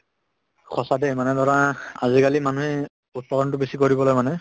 সঁচা দে মানে ধৰা আজি কালি মানুহে উৎপাদন টো বেছি কৰিবলৈ মানে